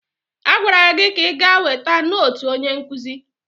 Agwara gị ka ị gaa weta nootu onye nkụzi!